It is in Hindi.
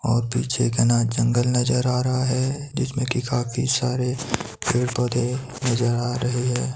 और पीछे घना जंगल नजर आ रहा है जिसमें कि काफी सारे पेड़ पौधे नजर आ रहे है।